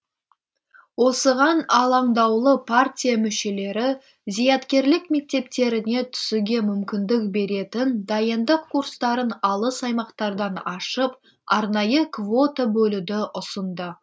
осыған алаңдаулы партия мүшелері зияткерлік мектептеріне түсуге мүмкіндік беретін дайындық курстарын алыс аймақтардан ашып арнайы квота бөлуді ұсынды